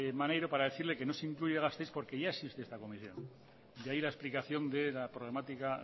maneiro para decirle que no se incluye gasteiz porque ya existe esta conexión de ahí la explicación de que la problemática